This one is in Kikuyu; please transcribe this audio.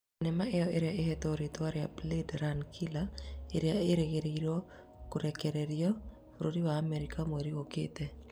Thenema iyo ĩrĩa ĩhetwo rĩtwa ria "Blade runner killer", ĩrĩa ĩrĩgĩrĩirwo kũrekererio bũrũri wa Amerika mweri ũkĩte